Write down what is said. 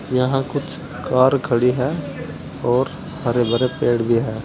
यहां कुछ कार खड़ी हैं और हरे भरे पेड़ भी हैं।